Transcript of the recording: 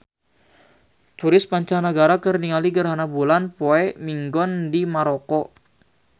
Turis mancanagara keur ningali gerhana bulan poe Minggon di Maroko